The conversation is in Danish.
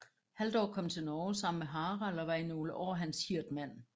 Halldór kom til Norge sammen med Harald og var i nogle år hans hirdmand